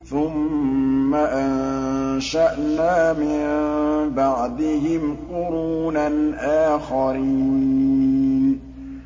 ثُمَّ أَنشَأْنَا مِن بَعْدِهِمْ قُرُونًا آخَرِينَ